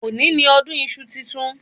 Òní ni ọdún iṣu titun